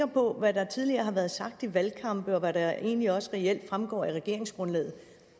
på hvad der tidligere har været sagt i valgkampen og hvad der egentlig også reelt fremgår af regeringsgrundlaget